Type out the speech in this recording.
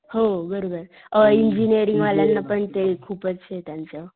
हो बरोबर अ इंजिनिअरिंग वाल्याना पण त्याच खूपच ए त्यांचं.